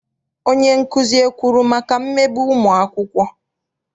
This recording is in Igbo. Onyenkuzi ekwuru maka mmegbu ụmụakwụkwọ?